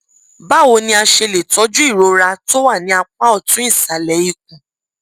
báwo la la ṣe lè tọjú ìrora tó wà ní apá ọtún ìsàlẹ ikùn